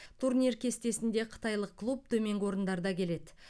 турнир кестесінде қытайлық клуб төменгі орындарда келеді